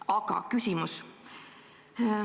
Aga küsimus.